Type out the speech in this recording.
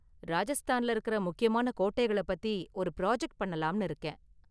ராஜஸ்தான்ல இருக்கற முக்கியமான கோட்டைகளை பத்தி ஒரு ப்ராஜெக்ட் பண்ணலாம்னு இருக்கேன்.